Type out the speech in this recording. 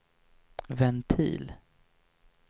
ventil